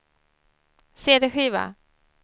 cd-skiva